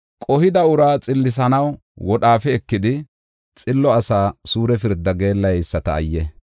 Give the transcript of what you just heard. Qohida uraa xillisanaw wodhaafe ekidi, xillo asaa suure pirdaa geellayeyisata ayye!